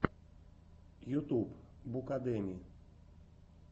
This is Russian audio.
ютуб букадеми